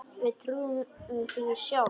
Við trúðum því sjálf.